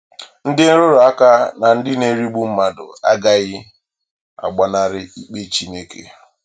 Ndị nrụrụ aka na ndị na-erigbu mmadụ agaghị agbanarị ikpe Chineke.